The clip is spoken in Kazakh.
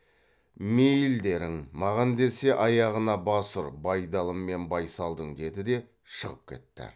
мейілдерің маған десе аяғына бас ұр байдалы мен байсалдың деді де шығып кетті